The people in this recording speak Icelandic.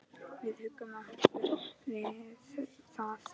Við huggum okkur við það.